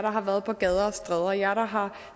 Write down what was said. har været på gader og stræder jer der har